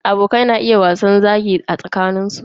Abokai na iya wasan zagi a tsakanin su.